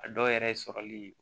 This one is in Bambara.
A dɔw yɛrɛ sɔrɔli